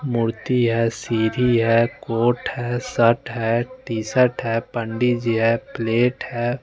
मोती है सीधी है कोर्ट है शर्ट है टी शर्ट है पंडीजी है प्लेट है।